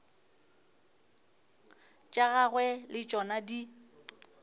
tša gagwe le tšona di